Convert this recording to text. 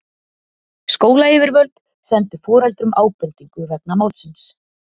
Skólayfirvöld sendu foreldrum ábendingu vegna málsins